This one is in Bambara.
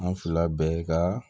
An fila bɛɛ ka